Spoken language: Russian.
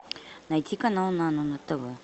найти канал нано на тв